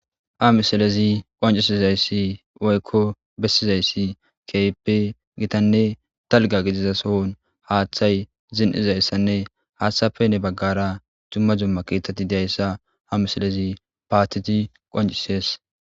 a misalezi qancisizayssi oykko bessizayssi keyppe gitanne talga gidiza sohon haaththay zin7izayssanne haaththape ne baggara jumma jumma kiitati dayssa ha misilezi paatiti qancisees